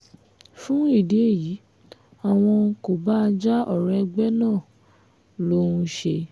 fún ìdí èyí àwọn kò bá a já ọ̀rọ̀ ẹgbẹ́ náà ló ń ṣe